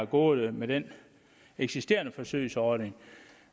gået med den eksisterende forsøgsordning